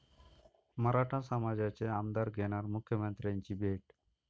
मराठा समाजाचे आमदार घेणार मुख्यमंत्र्यांची भेट